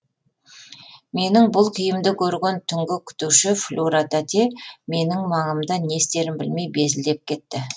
менің бұл күйімді көрген түнгі күтуші флюра тәте менің маңымда не істерін білмей безілдеп кетті